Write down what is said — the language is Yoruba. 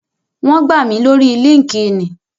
Wón gbà mí lórii líńki-inì